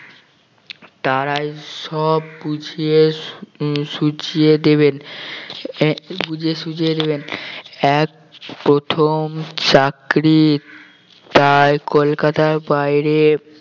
তারাই সব বুঝিয়ে সু~ সুঝিয়ে দেবেন আহ বুঝে সুঝে নেবেন এক প্রথম চাকরির তাই কলকাতার বাহিরে